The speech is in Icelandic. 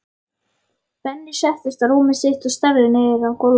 Benni settist á rúmið sitt og starði niður á gólfið.